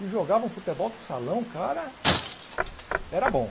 E jogava um futebol de salão, o cara era bom.